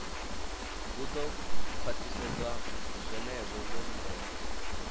hu do khwaṱhisedzwa zwenezwo vho lindela